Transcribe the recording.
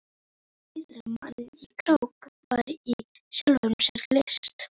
Að sigra mann í krók var í sjálfu sér list.